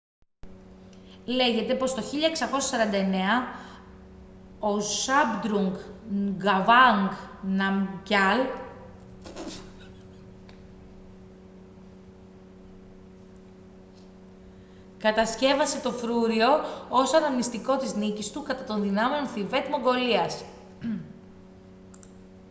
λέγεται πως το 1649 ο zhabdrung ngawang namgyal κατασκεύασε το φρούριο ως αναμνηστικό της νίκης του κατά των δυνάμεων θιβέτ-μογγολίας